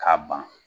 K'a ban